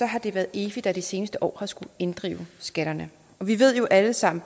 har det været efi der de seneste år har skullet inddrive skatterne og vi ved jo alle sammen